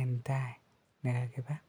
en tai nekakibaa.